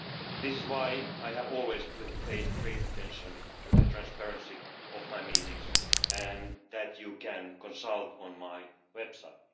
This is why I have always paid great attention to the transparency of my meetings, and you can consult this on my website.